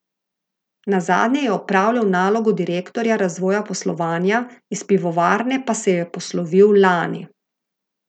Nazadnje je opravljal nalogo direktorja razvoja poslovanja, iz pivovarne pa se je poslovil lani.